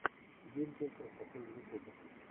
гильдия красоты в ютубе